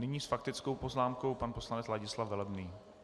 Nyní s faktickou poznámkou pan poslanec Ladislav Velebný.